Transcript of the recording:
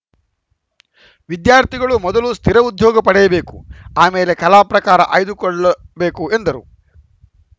ವಿದ್ಯಾರ್ಥಿಗಳು ಮೊದಲು ಸ್ಥಿರ ಉದ್ಯೋಗ ಪಡೆಯಬೇಕು ಆಮೇಲೆ ಕಲಾ ಪ್ರಕಾರ ಆಯ್ದುಕೊಳ್ಳಬೇಕು ಎಂದರು